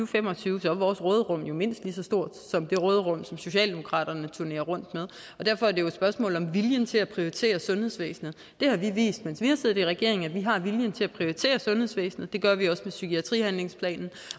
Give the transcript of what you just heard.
fem og tyve er vores råderum mindst lige så stort som det råderum som socialdemokratiet turnerer rundt med og derfor er det jo et spørgsmål om viljen til at prioritere sundhedsvæsenet det har vi vist mens vi har siddet i regering altså at vi har viljen til at prioritere sundhedsvæsenet det gør vi også med psykiatrihandlingsplanen